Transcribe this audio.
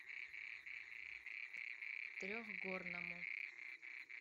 трехгорному